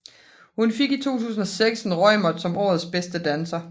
Hun fik i 2006 en Reumert som årets bedste danser